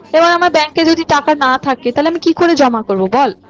এবার আমার bank এ যদি টাকা না থাকে তাহলে আমি কি করে জমা করবো বল?